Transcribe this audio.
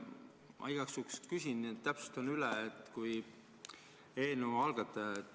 Ma igaks juhuks küsin ja täpsustan üle.